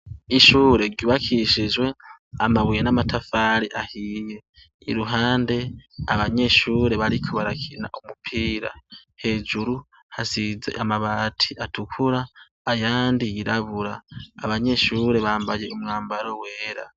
Ishure ryubakishijwe amabuye n'amatafari ahiye. Iruhande abanyeshure bariko barakina umupira. Hejuru hasize amabati atukura ayandi yirabura. Abanyeshure bambaye umwambaro wera.